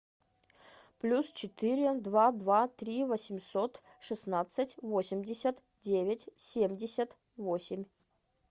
плюс четыре два два три восемьсот шестнадцать восемьдесят девять семьдесят восемь